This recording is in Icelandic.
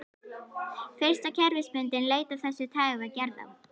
Fyrsta kerfisbundin leit af þessu tagi var gerð á